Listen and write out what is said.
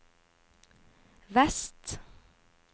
vest